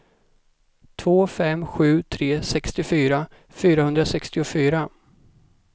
två fem sju tre sextiofyra fyrahundrasextiofyra